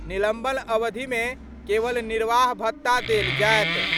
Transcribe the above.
निलंबन अवधि मे केवल निर्वाह भत्ता देल जाएत।